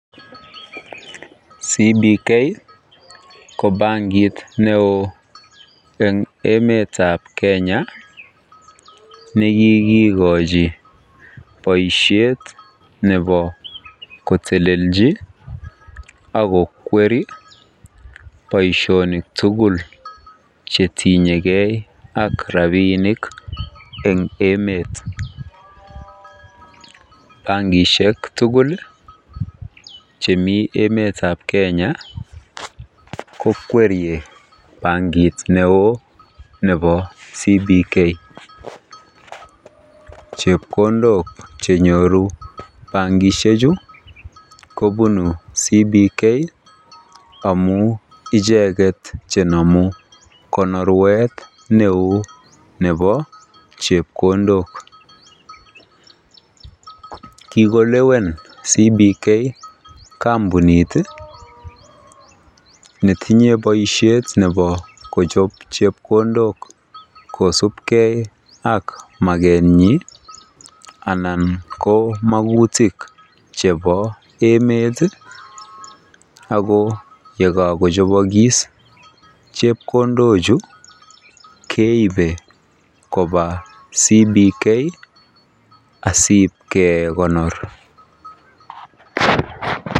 CBK ko bankit neo eng emetab Kenya, nekikikonchi boisyet kotelelelchi akokwer boisyonik tukul chetinyeken ak rapinik eng emet, bankishek tukul chemi emetab Kenya ko kwerie bankit neo nebo CBK, chepkondok chenyoru bankishek chu kobunu CBK amu icheket chenamu konorwet neu nebo chepkondok, kikolewen CBK kampunit metinye boisyet nebo kochab chepkondok kosubken ak makenyin anan ko makutik chebo emet, ako yekako chobokis chepkondok chu, keibe koba CBK asibkekonor .